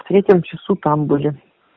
в третьем часу там были